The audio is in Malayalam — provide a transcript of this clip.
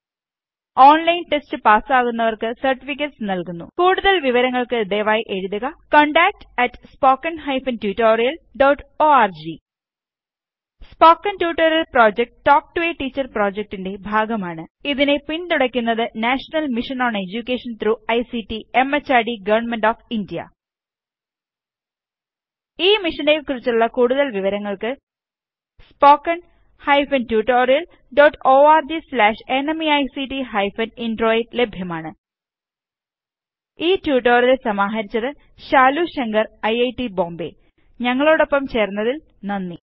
ഓണ്ലൈന് ടെസ്റ്റ് പാസാകുന്നവര്ക്ക് സര്ട്ടിഫിക്കറ്റുകള് സർട്ടിഫികറ്റെസ് നല്കുന്നു കൂടുതല് വിവരങ്ങള്ക്ക് ദയവായി എഴുതുക contactspoken tutorialorg spoken tutorial project talk to a teacher പ്രോജക്ടിന്റെ ഭാഗമാണ് ഇതിനെ പിന്തുണക്കുന്നത് national mission on education through ICT MHRD government of India ഈ മിഷനെ കുറിച്ചുള്ള കൂടുതല് വിവരങ്ങള് spoken hyphen tutorial dot org slash NMEICT hyphen intro യില് ലഭ്യമാണ് ഈ ട്യൂട്ടോറിയല് സമാഹരിച്ചത് ശാലു ശങ്കർ ഐറ്റ് ബോംബേ ഞങ്ങളോടൊപ്പം ചേര്ന്നതിന് നന്ദി